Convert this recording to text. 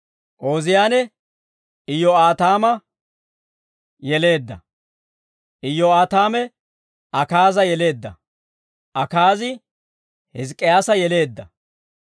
Ooziyaane, Iyyoo'aataama yeleedda; Iyyoo'aataame, Akaaza yeleedda; Akaazi, Hizk'k'iyaasa yeleedda.